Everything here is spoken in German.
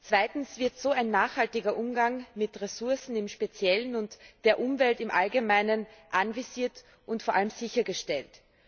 Zweitens wird so ein nachhaltiger Umgang mit Ressourcen im Speziellen und der Umwelt im Allgemeinen anvisiert und vor allem sichergestellt.